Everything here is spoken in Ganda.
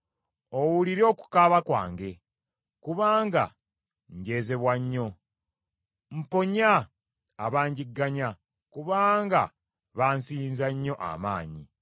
Owulire okukaaba kwange, kubanga njeezebwa nnyo! Mponya abanjigganya, kubanga bansinza nnyo amaanyi.